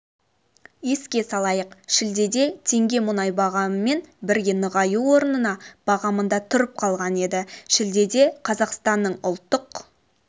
еске салайық шілдеде теңге мұнай бағамымен бірге нығаю орнына бағамында тұрып қалған еді шілдеде қазақстанның ұлттық